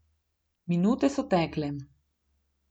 Minute so tekle.